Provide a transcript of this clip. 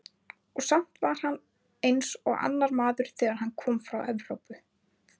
Og samt var hann eins og annar maður, þegar hann kom frá Evrópu.